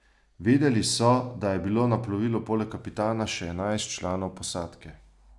Vedeli so, da je bilo na plovilu poleg kapitana še enajst članov posadke.